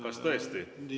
Kas tõesti?